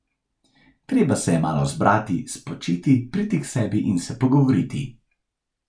Treba se je malo zbrati, spočiti, priti k sebi in se pogovoriti.